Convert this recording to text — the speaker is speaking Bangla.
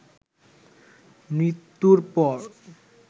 মৃত্যুর পর